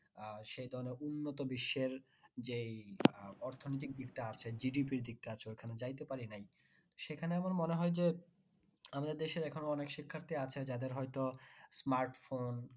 আহ সেই ধরণের উন্নত বিশ্বের যে এই আহ অর্থনৈতিক দিকটা আসে GDP র দিকটা আছে ওইখানে যাইতে পারি নাই। সেখানে আমার মনে হয় যে আমাদের দেশের এখনো অনেক শিক্ষার্থী আছে যাদের হয়তো smartphone